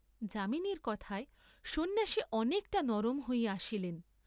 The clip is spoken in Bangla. যামিনীর কথায় সন্ন্যাসী অনেকটা নরম হইয়া আসিলেন।